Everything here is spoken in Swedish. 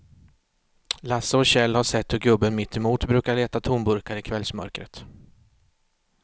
Lasse och Kjell har sett hur gubben mittemot brukar leta tomburkar i kvällsmörkret.